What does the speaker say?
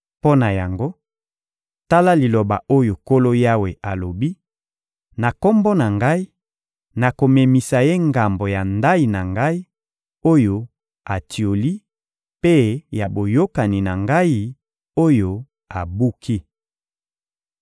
Mpo na yango, tala liloba oyo Nkolo Yawe alobi: Na Kombo na Ngai, nakomemisa ye ngambo ya ndayi na Ngai, oyo atioli mpe ya boyokani na Ngai, oyo abuki.